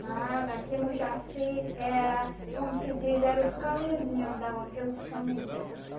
Nada, aqui no Jaci era, como se diz, era os caminhozinho, andava pelos caminhozinho aqui.